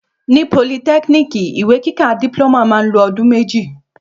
Ní pólìtẹkínìkí, ìwé kíkà diploma ma lo odun méjì